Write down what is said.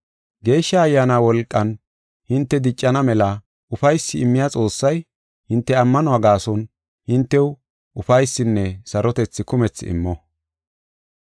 Geeshsha Ayyaana wolqan hinte diccana mela ufaysi immiya Xoossay, hinte ammanuwa gaason hintew ufaysinne sarotethi kumethi immo.